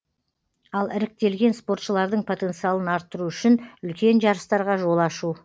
ал іріктелген спортшылардың потенциалын арттыру үшін үлкен жарыстарға жол ашу